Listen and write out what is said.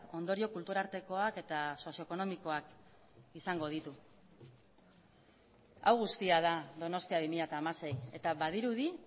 ondorio kultur artekoak eta sozio ekonomikoak izango ditu hau guztia da donostia bi mila hamasei eta badirudi